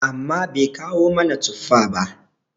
amma Bai kawo mana tuffa ba?